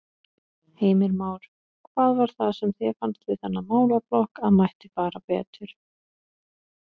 Heimir Már: Hvað var það sem þér fannst við þennan málaflokk að mætti fara betur?